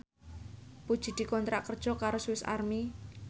Puji dikontrak kerja karo Swis Army